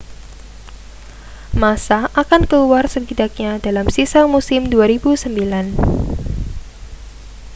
massa akan keluar setidaknya dalam sisa musim 2009